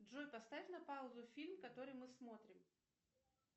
джой поставь на паузу фильм который мы смотрим